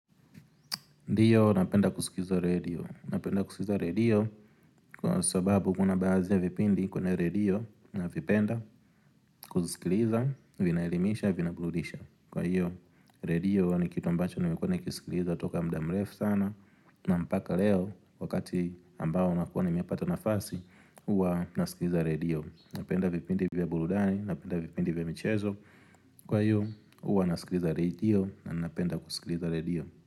Ndio napenda kusikiza redio, napenda kusikiza redio kwa sababu kuna baadhi ya vipindi kwenye radio na vipenda kusikiza vinaelimisha vina burudisha Kwa hiyo redio ni kitu ambacho nimekuwa nikisikilizaa toka mdamrefu sana na mpaka leo wakati ambao nakuwa nimepata nafasi uwa nasikiza redio Napenda vipindi vya burudani, napenda vipindi vya mchezo, kwa hiyo uwa nasikiza redio na napenda kusikiza redio.